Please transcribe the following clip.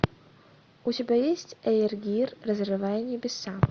у тебя есть эйр гир разрывая небеса